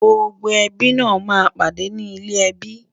gbógbó ẹbí nà má ń pàdé ní ilè ẹbí